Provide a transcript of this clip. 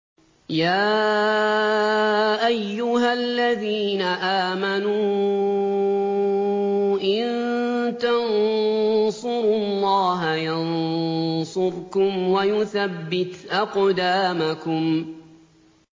يَا أَيُّهَا الَّذِينَ آمَنُوا إِن تَنصُرُوا اللَّهَ يَنصُرْكُمْ وَيُثَبِّتْ أَقْدَامَكُمْ